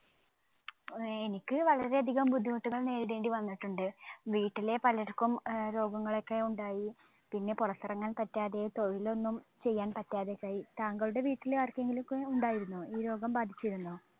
ഏർ എനിക്ക് വളരെയധികം ബുദ്ധിമുട്ടുകൾ നേരിടേണ്ടി വന്നിട്ടുണ്ട്. വീട്ടിലെ പലർക്കും ഏർ രോഗങ്ങളൊക്കെ ഉണ്ടായി. പിന്നെ പൊറത്തെറങ്ങാൻ പറ്റാതെ തൊഴിലൊന്നും ചെയ്യാൻ പറ്റാതെ താങ്കളുടെ വീട്ടിലെ ആർക്കെങ്കിലും ഒക്കെ ഉണ്ടായിരുന്നോ ഈ രോഗം ബാധിച്ചിരുന്നോ